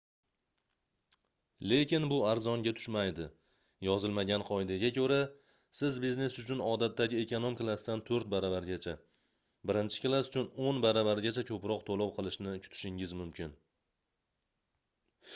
lekin bu arzonga tushmaydi yozilmagan qoidaga koʻra siz biznes uchun odatdagi ekonom klassdan toʻrt baravargacha birinchi klass uchun oʻn bir baravargacha koʻproq toʻlov qilishni kutishingiz mumkin